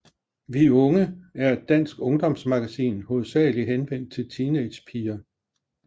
Vi Unge er et dansk ungdomsmagasin hovedsageligt henvendt til teenagepiger